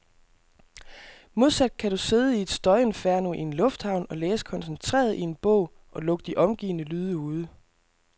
Modsat kan du sidde i et støjinferno i en lufthavn og læse koncentreret i en bog, og lukke de omgivende lyde ude.